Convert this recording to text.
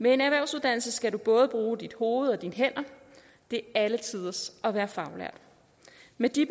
med en erhvervsuddannelse skal du både bruge dit hoved og dine hænder det er alle tiders at være faglært med de